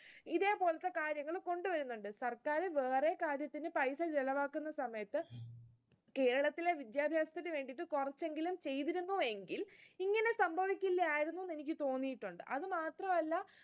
ഇതേ പോലത്തെ കാര്യങ്ങൾ കൊണ്ടുവരുന്നുണ്ട്. സർക്കാർ വേറെ കാര്യത്തിന് paisa ചിലവാക്കുന്ന സമയത്ത്, കേരളത്തിലെ വിദ്യാഭ്യാസത്തിന് വേണ്ടി കുറച്ചെങ്കിലും ചെയ്തിരുന്നുവെങ്കിൽ ഇങ്ങനെ സംഭവിക്കുകയില്ലായിരുന്നു എന്ന് എനിക്ക് തോന്നിയിട്ടുണ്ട്. അത് മാത്രമല്ല,